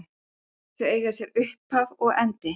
Þau eiga sér upphaf og endi.